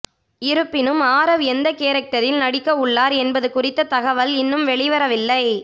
இருப்பினும் ஆரவ் எந்த கேரடக்டரில் நடிக்கவுள்ளார் என்பது குறித்த தகவல் இன்னும் வெளிவரவில்லை